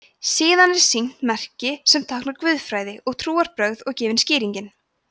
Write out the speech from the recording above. síðan er sýnt merki sem táknar „guðfræði og trúarbrögð“ og gefin skýringin